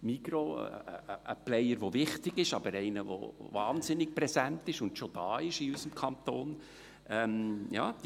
– Die Migros, ein wichtiger Player, aber einer der wahnsinnig präsent und schon in unserem Kanton ist.